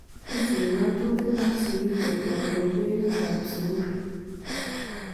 Kisubii ngatutik ak sikiik koek kobebertab sukuul